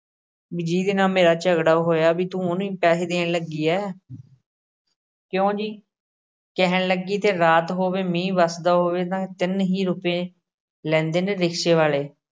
ਵੀ ਜਿਹਦੇ ਨਾਲ ਮੇਰਾ ਝਗੜਾ ਹੋਇਆ ਵੀ ਤੂੰ ਉਹਨੂੰ ਹੀ ਪੈਸੇ ਦੇਣ ਲੱਗੀ ਹੈ ਕਿਉਂ ਜੀ ਕਹਿਣ ਲੱਗੀ ਤੇ ਰਾਤ ਹੋਵੇ, ਮੀਂਹ ਵਸਦਾ ਹੋਵੇ ਤਾਂ ਤਿੰਨ ਹੀ ਰੁਪਏ ਲੈਂਦੇ ਨੇ ਰਿਕਸ਼ੇ ਵਾਲੇ।